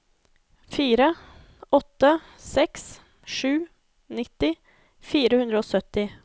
fire åtte seks sju nitti fire hundre og sytti